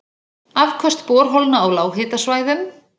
Afköst borholna á lághitasvæðum